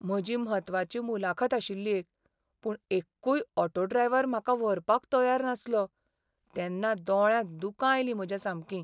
म्हजी म्हत्वाची मुलाखत आशिल्ली एक. पूण एक्कूय ऑटो ड्रायव्हर म्हाका व्हरपाक तयार नासलो तेन्ना दोळ्यांत दुकां आयलीं म्हज्या सामकीं.